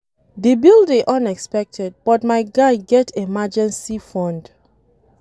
The bill dey unexpected but my guy get emergency fund